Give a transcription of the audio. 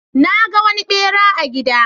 Na ga wani ɓera a gida.